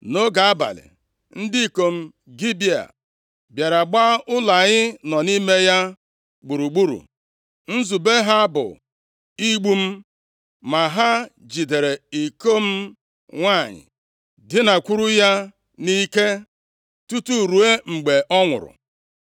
Nʼoge abalị, ndị ikom Gibea bịara gba ụlọ anyị nọ nʼime ya gburugburu. Nzube ha bụ igbu m. Ma ha jidere iko m nwanyị, dinakwuru ya nʼike, tutu ruo mgbe ọ nwụrụ.